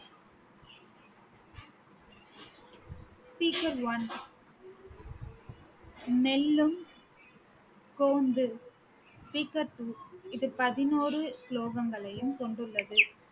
speaker one நெல்லும் கோம்பு speaker two இது பதினோறு ஸ்லோகங்களையும் கொண்டுள்ளது